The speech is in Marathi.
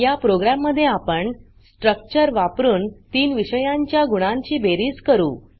या प्रोग्राम मध्ये आपण स्ट्रक्चर वापरुन तीन विषयांच्या गुणांची बेरीज करू